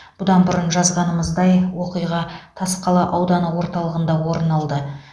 бұдан бұрын жазғанымыздай оқиға тасқала ауданы орталығында орын алды